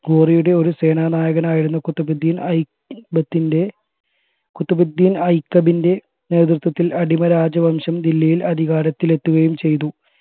ഘോറിയുടെ ഒരു സേനാനായകനായിരുന്ന ഖുത്ബിദീൻ ഐകബിൻറെ ഖുതുബിദീൻ ഐകബിൻറെ നേതൃത്വത്തിൽ അടിമരാജവംശം ദില്ലിയിൽ അധികാരത്തിലെത്തുകയും ചെയ്തു